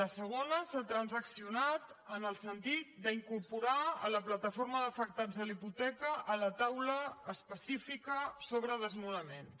la segona s’ha transaccionat en el sentit d’incorporar la plataforma d’afectats per la hipoteca a la taula específica sobre desnonaments